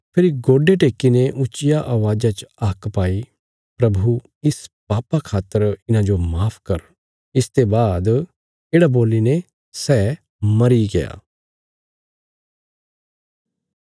फेरी गोडे टेक्कीने उचिया अवाज़ा च हाक पाई प्रभु इस पापा खातर इन्हांजो माफ कर इसते बाद येढ़ा बोलीने सै मरीग्या